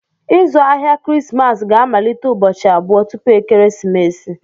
Ịzụ ahịa Krismas ga-amalite ụbọchị abụọ tupu ekeresimesi.